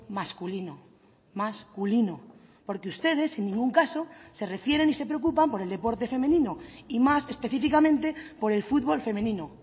masculino masculino porque ustedes en ningún caso se refieren y se preocupan por el deporte femenino y más específicamente por el futbol femenino